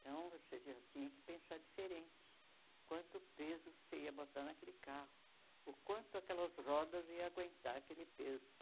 Então, você já tinha que pensar diferente quanto peso você ia botar naquele carro, o quanto aquelas rodas iam aguentar aquele peso.